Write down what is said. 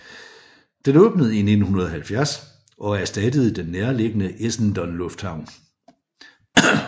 Den åbnede i 1970 og erstattede den nærliggende Essendon Lufthavn